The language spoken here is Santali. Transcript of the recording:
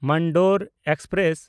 ᱢᱟᱱᱰᱳᱨ ᱮᱠᱥᱯᱨᱮᱥ